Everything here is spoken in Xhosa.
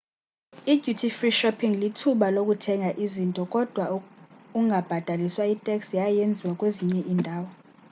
i-duty free shopping lithuba lokuthenga izinto kodwa ungabhataliswa itax yaye yenziwa kwezinye indawo